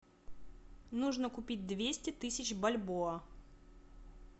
нужно купить двести тысяч бальбоа